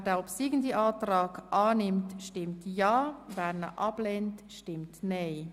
Wer den obsiegenden Antrag annimmt, stimmt ja, wer ihn ablehnt, stimmt nein.